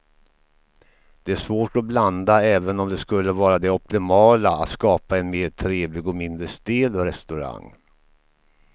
Det är svårt att blanda även om det skulle vara det optimala att skapa en mer trevlig och mindre stel restaurang.